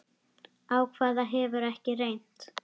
Á hvað hefur ekki reynt?